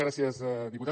gràcies diputat